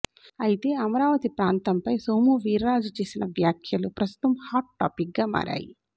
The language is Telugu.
అయితే అమరావతి ప్రాంతం పై సోము వీర్రాజు చేసిన వ్యాఖ్యలు ప్రస్తుతం హాట్ టాపిక్ గా మారాయి